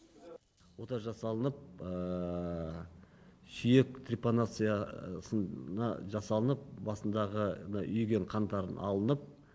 ота жасалынып сүйек трипанация жасалынып басындағы мына үйіген қандарын алынып